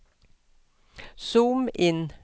zoom inn